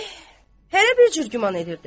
Eh, hərə bir cür güman edirdi.